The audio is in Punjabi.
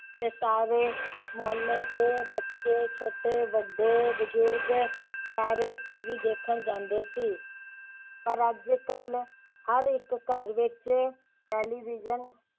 ਤੇ ਸਾਰੇ ਮੁਹੱਲੇ ਦੇ ਬੱਚੇ ਛੋਟੇ ਵੱਡੇ ਬੁਜੁਰਗ ਸਾਰੇ TV ਦੇਖਣ ਜਾਂਦੇ ਸੀ ਪਰ ਅੱਜਕਲ ਹਰ ਇਕ ਘਰ ਵਿਚ television